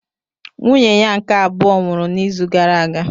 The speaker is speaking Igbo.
Nwunye ya nke abụọ nwụrụ n'izu gara aga